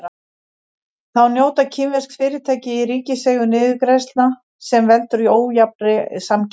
Þá njóta kínversk fyrirtæki í ríkiseigu niðurgreiðslna sem veldur ójafnri samkeppni.